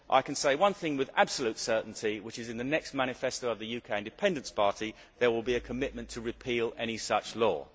I can say one thing with absolute certainty, which is that in the next manifesto of the UK Independence Party, there will be a commitment to repeal any such law.